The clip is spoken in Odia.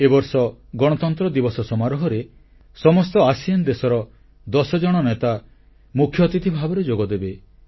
ଏ ବର୍ଷ ସାଧାରଣତନ୍ତ୍ର ଦିବସ ସମାରୋହରେ ସମସ୍ତ ଆସିଆନ ଆସିଆନ ଦେଶର ଦଶଜଣ ନେତା ମୁଖ୍ୟ ଅତିଥି ଭାବେ ଯୋଗଦେବେ